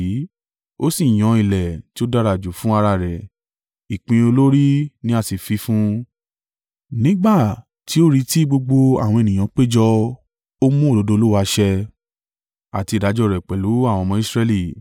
Ó sì yan ilẹ̀ tí ó dára jù fún ara rẹ̀; ìpín olórí ni a sì fi fún un. Nígbà tí ó rí tí gbogbo àwọn ènìyàn péjọ, ó mú òdodo Olúwa ṣẹ, àti ìdájọ́ rẹ̀ pẹ̀lú àwọn ọmọ Israẹli.”